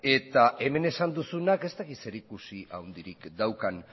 eta hemen esan duzunak ez dakit zerikusi handirik daukan